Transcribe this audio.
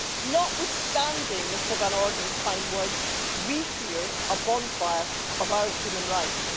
Notwithstanding Mr Van Orden's fine words, we fear a bonfire of our human rights.